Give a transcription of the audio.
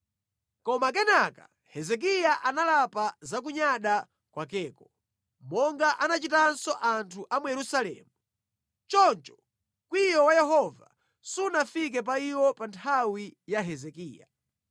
Koma kenaka Hezekiya analapa za kunyada kwakeko, monga anachitanso anthu a mu Yerusalemu. Choncho mkwiyo wa Yehova sunafike pa iwo pa nthawi ya Hezekiya.